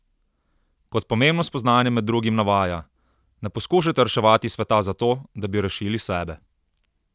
Kot pomembno spoznanje med drugim navaja: "Ne poskušajte reševati sveta zato, da bi rešili sebe.